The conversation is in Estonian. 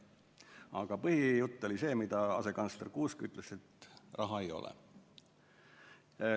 Aga põhijutt, mida asekantsler Kuusk rääkis, oli see, et raha ei ole.